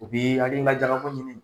U bi hakilina jakabɔ ɲini